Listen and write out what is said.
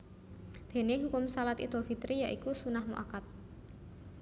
Déné hukum Shalat Idul Fitri ya iku sunnah mu akkad